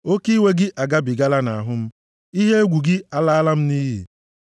Oke iwe gị agabigala nʼahụ m; ihe egwu gị alaala m nʼiyi.